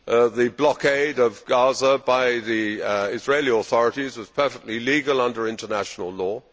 The blockade of Gaza by the Israeli authorities was perfectly legal under international law.